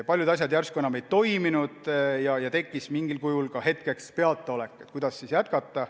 Paljud asjad järsku enam ei toiminud ja hetkeks tekkis mingil kujul peataolek, kuidas ikkagi jätkata.